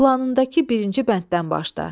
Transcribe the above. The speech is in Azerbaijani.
Planındakı birinci bənddən başda.